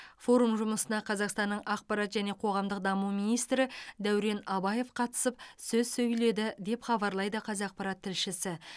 форум жұмысына қазақстанның ақпарат және қоғамдық даму министрі дәурен абаев қатысып сөз сөйледі деп хабарлайды қазақпарат тілшісі